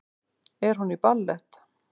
Er hún í ballett?